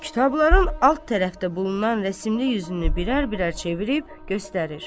Kitabların alt tərəfdə bulunan rəsimli yüzünü birər-birər çevirib göstərir.